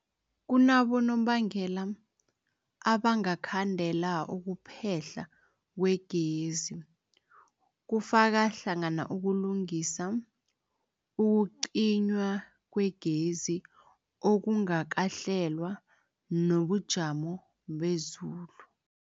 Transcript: Kunabonobangela abangakhandela ukuphehlwa kwegezi, kufaka hlangana ukulungisa, ukucinywa kwegezi okungakahlelwa, nobujamo bezulu.